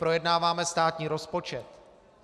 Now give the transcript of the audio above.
Projednáváme státní rozpočet.